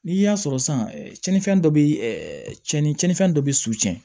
N'i y'a sɔrɔ san tiɲɛnifɛn dɔ bɛ ɛ cɛnnifɛn dɔ bɛ suɲɛ